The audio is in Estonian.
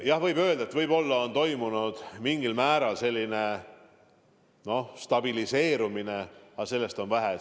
Jah, võib öelda, et võib-olla on toimunud mingil määral stabiliseerumine, aga sellest on vähe.